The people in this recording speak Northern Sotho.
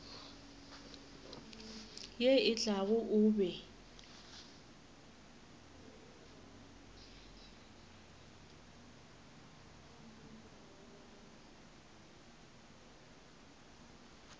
ye e tlago o be